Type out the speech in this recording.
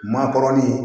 Maakɔrɔlen